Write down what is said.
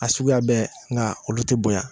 A suguya bɛɛ nka olu tɛ bonya